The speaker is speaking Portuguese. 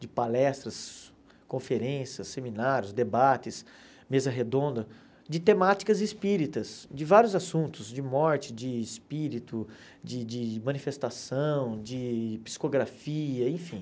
de palestras, conferências, seminários, debates, mesa redonda, de temáticas espíritas, de vários assuntos, de morte, de espírito, de de manifestação, de psicografia, enfim.